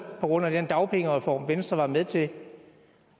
på grund af den dagpengereform venstre var med til